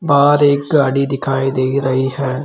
बाहर एक गाड़ी दिखाई दे रही हैं।